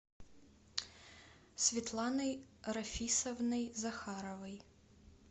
светланой рафисовной захаровой